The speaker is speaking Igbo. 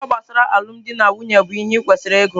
Akwụkwọ gbasara alụmdi na nwunye bụ ihe i kwesịrị ịgụ.